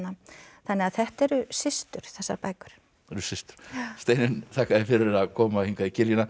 þannig að þetta eru systur þessar bækur þær eru systur Steinunn þakka þér fyrir að koma í kiljuna við